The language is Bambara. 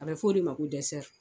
A bɛ fɔ o de ma ko dɛsɛri.